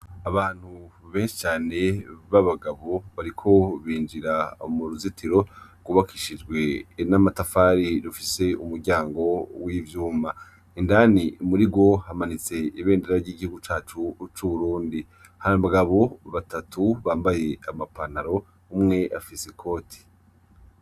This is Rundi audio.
Abantu benshi cane ba bagabo bariko binjira muruzitiro rwubakishijwe namatafari rufise umuryango w'ivyuma, indani muri rwo hamanitse ibendera ry'igihungu cacu c'Uburundi, hari umugabo batatu bambaye amapantaro umwe afise ikoti.